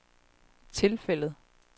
tilfældet